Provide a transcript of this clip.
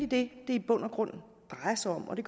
det i bund og grund drejer sig om og det